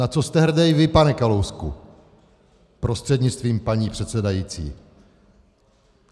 Na co jste hrdý vy, pane Kalousku prostřednictvím paní předsedající?